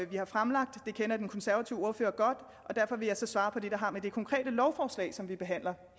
vi har fremlagt det kender den konservative ordfører godt og derfor vil jeg så svare på det der har med det konkrete lovforslag som vi behandler